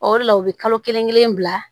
O de la u bɛ kalo kelen kelen bila